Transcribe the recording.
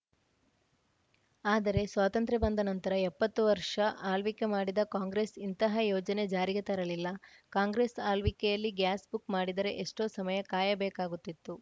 ಆದರೆ ಸ್ವಾತಂತ್ರ್ಯ ಬಂದ ನಂತರ ಎಪ್ಪತ್ತು ವರ್ಷ ಆಳ್ವಿಕೆ ಮಾಡಿದ ಕಾಂಗ್ರೆಸ್‌ ಇಂತಹ ಯೋಜನೆ ಜಾರಿಗೆ ತರಲಿಲ್ಲ ಕಾಂಗ್ರೆಸ್‌ ಆಳ್ವಿಕೆಯಲ್ಲಿ ಗ್ಯಾಸ್‌ ಬುಕ್‌ ಮಾಡಿದರೆ ಎಷ್ಟೋ ಸಮಯ ಕಾಯ ಬೇಕಾಗುತ್ತಿತ್ತು